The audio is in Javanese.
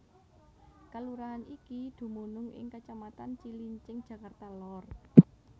Kalurahan iki dumunung ing kacamatan Cilincing Jakarta Lor